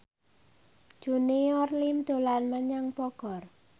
Junior Liem dolan menyang Bogor